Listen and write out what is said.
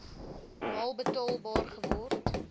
maal betaalbaar geword